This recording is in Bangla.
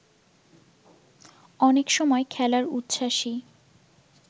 অনেক সময় খেলার উচ্ছ্বাসই